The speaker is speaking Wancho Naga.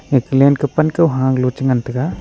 eka len kah pan kohaa galo che ngan taiga.